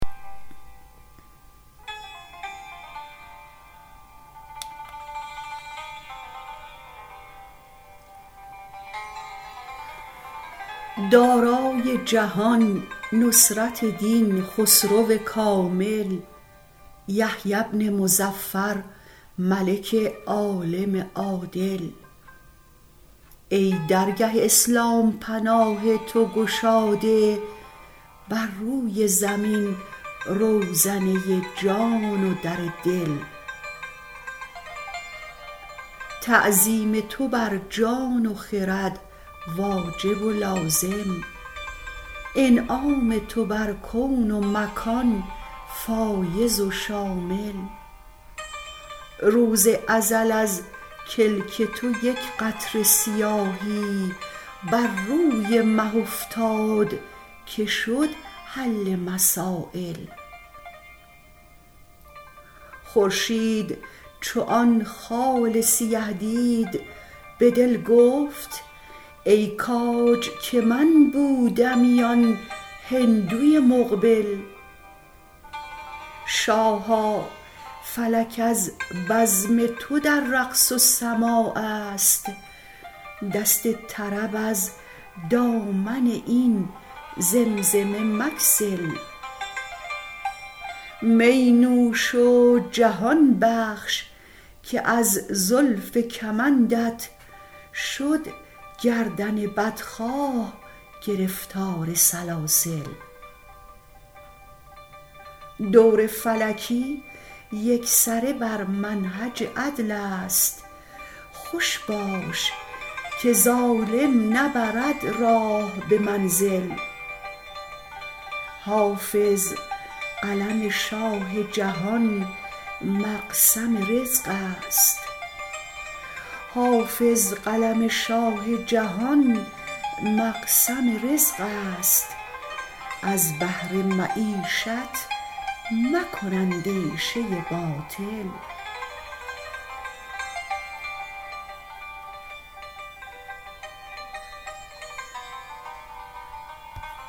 دارای جهان نصرت دین خسرو کامل یحیی بن مظفر ملک عالم عادل ای درگه اسلام پناه تو گشاده بر روی زمین روزنه جان و در دل تعظیم تو بر جان و خرد واجب و لازم انعام تو بر کون و مکان فایض و شامل روز ازل از کلک تو یک قطره سیاهی بر روی مه افتاد که شد حل مسایل خورشید چو آن خال سیه دید به دل گفت ای کاج که من بودمی آن هندوی مقبل شاها فلک از بزم تو در رقص و سماع است دست طرب از دامن این زمزمه مگسل می نوش و جهان بخش که از زلف کمندت شد گردن بدخواه گرفتار سلاسل دور فلکی یکسره بر منهج عدل است خوش باش که ظالم نبرد راه به منزل حافظ قلم شاه جهان مقسم رزق است از بهر معیشت مکن اندیشه باطل